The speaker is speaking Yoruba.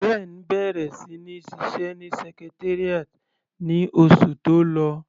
Ben bẹ̀rẹ̀ sí ní ṣiṣẹ́ ní Secretariat ní oṣù tó lọ.